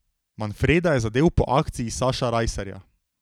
Manfreda je zadel po akciji Saša Rajsarja.